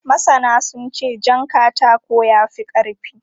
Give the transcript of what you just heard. Masana sun ce jan katako ya fi ƙarfi.